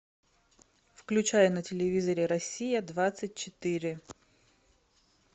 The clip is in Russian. включай на телевизоре россия двадцать четыре